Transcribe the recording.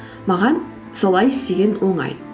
маған солай істеген оңай